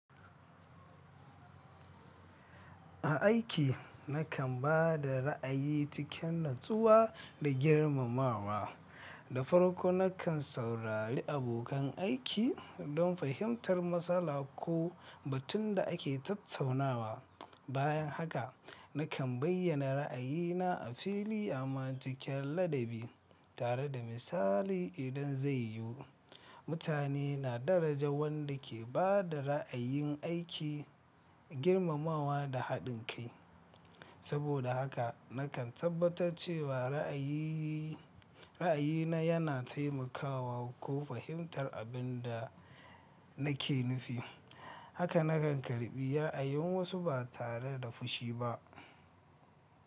A aiki, nakan ba da ra'ayi cikin natsuwa da girmamawa. Da farko, nakan saurari abokan aiki don fahimtar matsala ko batun da ake tattaunawa. Bayan haka, nikan bayyana ra'ayina a fili amma cikin ladabi, tare da misali idan zai yu. Mutane na daraja wanda ke ba da ra'ayin aiki, girmamawa da haɗin kai. Saboda haka, nakan tabbatar cewa ra'ayi ra'ayina yana taimakawa ko fahimtar abin da nake nufi. Haka nakan karɓi ra'ayin wasu ba tare da fushi ba.